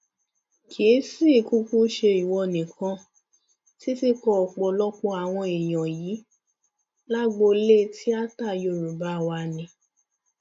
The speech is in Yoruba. kì í sì í kúkú ṣe ìwọ nìkan títí kan ọpọlọpọ àwọn èèyàn yín lágboolé tíáta yorùbá wá ni